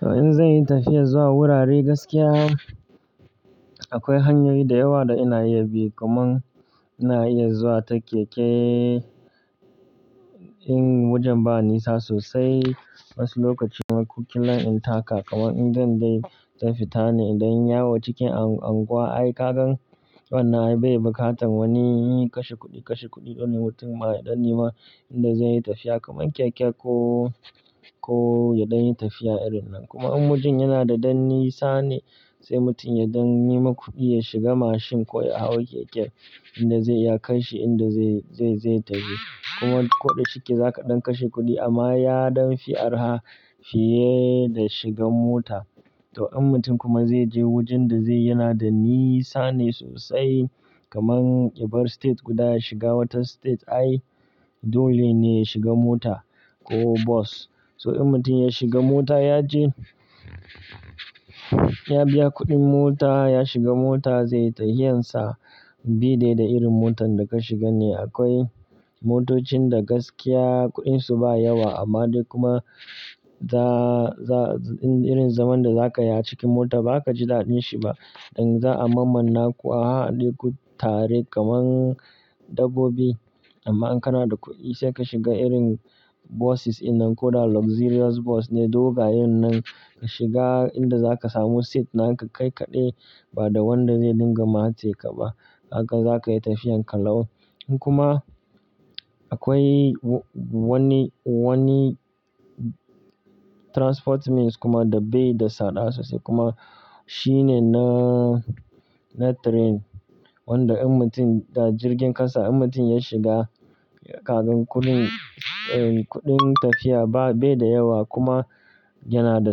To in zai yi tafiya zuwa wurare gaskiya, akwai hanyoyi da yawa da ina iya bi. Kuma ina iya zuwa ta keke in wajen ba nisa sosai. Wasu lokaci na kuɗi na in taka, kamar idan dai zan fita ne idan yawo cikin anguwa. Ai kagan wannan ai bai buƙatan wani yin kashe kuɗi, kashe kuɗi don mutum ma ya ɗan yi ma inda zai yi tafiya kamar keke ko, ko ya ɗan yi tafiya irin nan. Kuma in wajen yana da ɗan nisa ne, sai mutum ya ɗan nema kuɗi ya shiga mashin ko ya hau keke inda zai ya kai shi inda zai, zai, zai taje. Kuma koda shike zaka ɗan kashe kuɗi amma yaɗon fi arha fiye da shiga mota. To in mutum kuma zai je wajen da zai yana da nisa ne sosai kamar yabar state guda ya shiga wata state ai dole ne ya shiga mota ko bas. So in mutum ya shiga mota ya je, ya biya kuɗin mota, ya shiga mota zai yi tafiyan sa bi dai da irin motan da ka shiga ne. Akwai motocin da gaskiya kuɗinsu ba yawa amma dai kuma za, za, irin zaman da za ka yi a cikin mota ba kaza kaji daɗin shi ba. Idan za a mammanna ku a haɗe ku tare kamar dabbobi. Amma in kana da kuɗi sai ka shiga irin buses ina koda luxurious bus ne. Dogayen nan nan ka shiga inda za ka samu seat na ka kai kaɗai ba da wanda zai dinga matse ka ba. Haka za ka yi tafiyan ka lau. Kuma akwai wani, wani transport means kuma da baida tsada sosai kuma. Shi ne na, na train. Wanda in mutum da jirgin ƙasa in mutum ya shiga kagan kuɗin, kuɗin tafiya ba, bai da yawa kuma yana da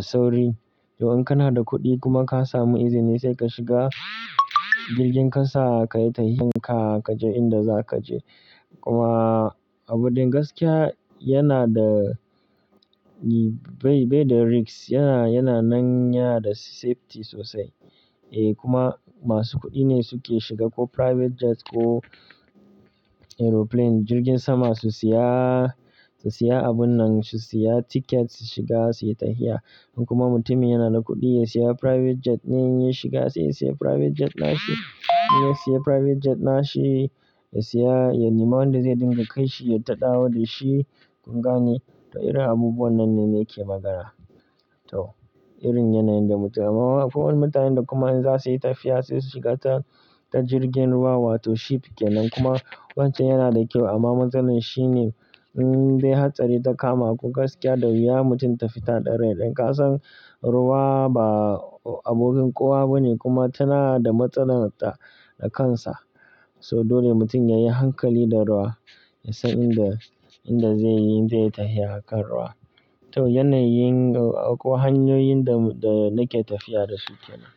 sauri. To in kana da kuɗi kuma ka samu izini sai ka shiga jirgin ƙasa ka yi tafiyan ka, ka je inda za ka je. Kuma abun da gaskiya yana da bai, bai da risks. Yana, yana nan ya da safety sosai. Eh kuma masu kuɗi ne suke shiga ko private jet ko aeroplane, jirgin sama su siya, su siya abun nan, su siya ticket su shiga su yi tafiya. In kuma mutumin yana da kuɗi ya siya private jet ne ya shiga sai ya siya private jet na shi. Ya siya private jet na shi, ya siya ya yi ma wanda zai dinga kai shi ya taɗawo da shi kunga ne. To irin abubuwa nan ne ne ke magana. To irin yana yanda mutu. Amma kuma mutanen da kuma in za su yi tafiya sai su shiga ta, ta jirgin ruwa wato ship kenan kuma wancan yana da kyau amma matsalar shi ne, in dai hatsari ta kama. Kun gaskiya da wuya mutum ta fita da rai. Dan ka san ruwa ba abokin kowa bane kuma tana da matsalar ta, na kansa. So dole mutum ya yi hankali da ruwa. Ya san inda, inda zai yi, zai yi tafiya kan ruwa. To yanayin ko hanyoyin da, da nake tafiya da su kenan.